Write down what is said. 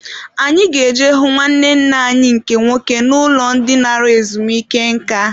Anyị ga-eje hụ nwanne nna anyị nke nwoke n'ụlọ dị nara ezumike nka.